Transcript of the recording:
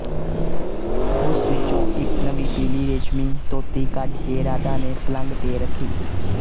ਉਸ ਵਿੱਚੋਂ ਇੱਕ ਨਵੀਂ ਪੀਲੀ ਰੇਸ਼ਮੀ ਧੋਤੀ ਕੱਢ ਕੇ ਰਾਧਾ ਨੇ ਪਲੰਘ ਤੇ ਰੱਖੀ